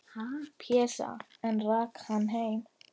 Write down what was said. Pésa, en rak hann heim.